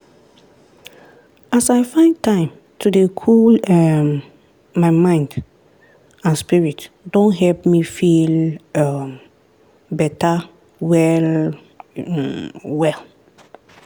as i find time to dey cool um my mind and spirit don help me feel um beta well um well.